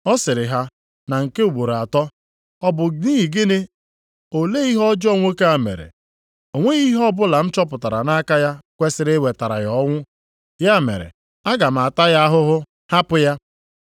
Ọ sịrị ha na nke ugboro atọ, “Ọ bụ nʼihi gịnị? Olee ihe ọjọọ nwoke a mere? O nweghị ihe ọbụla m chọpụtara nʼaka ya kwesiri iwetara ya ọnwụ. Ya mere aga m ata ya ahụhụ, hapụ ya.”